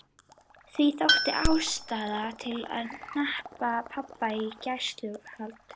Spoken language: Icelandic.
Því þótti ástæða til að hneppa pabba í gæsluvarðhald.